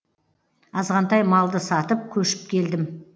азғантай малды сатып көшіп келдім